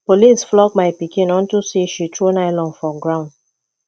police flog my pikin unto say she throw nylon for ground